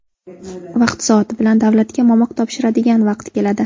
Vaqti-soati bilan davlatga momiq topshiradigan vaqt keladi.